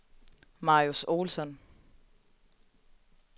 Marius Olsson